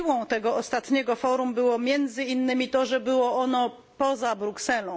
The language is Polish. Siłą tego ostatniego Forum było między innymi to, że odbyło się ono poza Brukselą.